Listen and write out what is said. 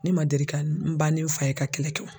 Ne man deli ka n ba ni n fa ye ka kɛlɛ kɛ